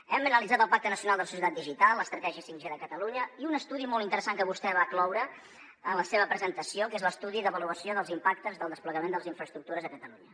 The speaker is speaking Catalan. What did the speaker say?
hem analitzat el pacte nacional per a una societat digital l’estratègia 5g de catalunya i un estudi molt interessant que vostè va incloure en la seva presentació que és l’estudi d’avaluació dels impactes del desplegament de les infraestructures a catalunya